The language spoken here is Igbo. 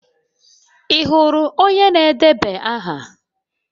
Ị hụrụ onye na-edeba aha?